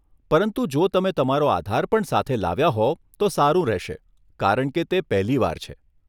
પરંતુ જો તમે તમારો આધાર પણ સાથે લાવ્યા હોવ તો સારું રહેશે કારણ કે તે પહેલી વાર છે.